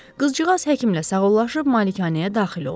Qızcığaz həkimlə sağollaşıb malikanəyə daxil oldu.